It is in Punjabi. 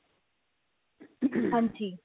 ਹਾਂਜੀ